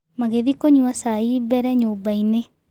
Magĩthiĩ kũnywa cai mbere nyũmbainĩ.